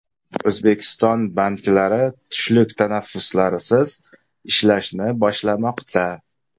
O‘zbekiston banklari tushlik tanaffuslarisiz ishlashni boshlamoqda.